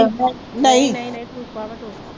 ਨਹੀਂ ਨਹੀਂ ਨਹੀਂ ਟਿਊਬਾ ਵਾ ਦੋ।